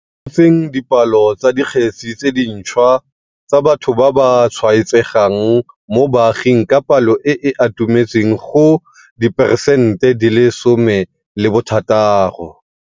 fokotseng dipalo tsa dikgetse tse dintšhwa tsa batho ba ba tshwaetsegang mo baaging ka palo e e atumetseng go diperesente di le lesomethataro.